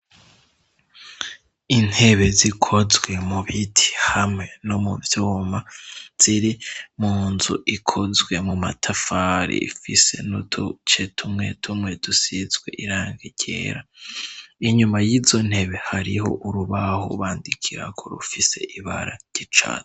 Intebe zikozwe mu biti hamwe no mu vyoma ziri mu nzu ikozwe mu matafari ifise nutu ce tumwe tumwe dusizwe iranga irera inyuma y'izo ntebe hariho urubahu bandikiraku rufise ibara gyicare.